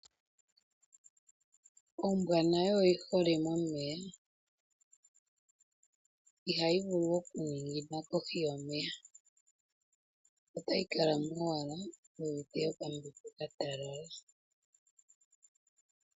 Ombwa nayo oyi hole momeya, ihayi vulu oku ningina kohi yomeya otayi kalamo owala yi uvite okambepo ka talala.